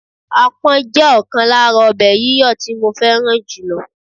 Apon jẹ́ ọ̀kan lára ọbẹ̀ yíyọ tí mo fẹ́ràn jùlọ.